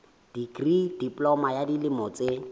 dikri diploma ya dilemo tse